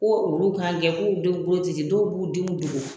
Ko olu kan kɛ k'u denw bolo tɛ ci dɔw b'u denw dogo